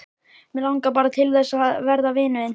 Mig langar bara til þess að verða vinur þinn.